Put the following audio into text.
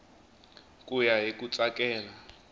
ku ya hi ku tsakela